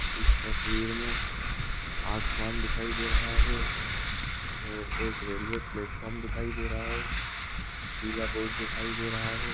इस तस्वीर मे आसमान दिखाई दे रहा है और एक रेलवे प्लेटफॉर्म दिखाई दे रहा है पीला बोर्ड दिखाई दे रहा है।